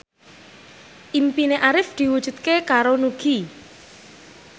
impine Arif diwujudke karo Nugie